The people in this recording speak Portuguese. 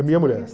minha mulher.